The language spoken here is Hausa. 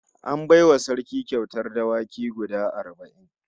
An bai wa Sarki kyautar dawaki guda arba'in